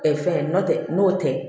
fɛn n'o tɛ n'o tɛ